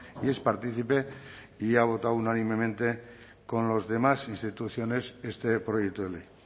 y es partícipe y ha votado unánimemente con las demás instituciones este proyecto de ley